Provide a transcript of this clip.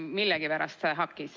Mul millegipärast see hakkis ...